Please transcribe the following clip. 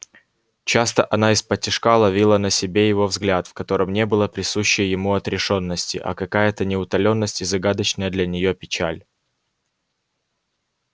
часто она исподтишка ловила на себе его взгляд в котором не было присущей ему отрешённости а какая-то неутоленность и загадочная для нее печаль